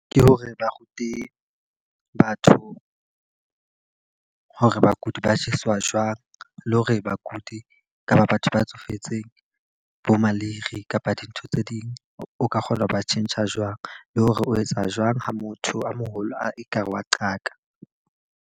Ke hore ba rute batho hore bakudi ba jeswa jwang. Le hore bakudi kapa batho ba tsofetseng bo maleire kapa dintho tse ding, o ka kgona ho ba tjhentjha jwang. Le hore o etsa jwang ha motho a moholo a e ka re wa qaka.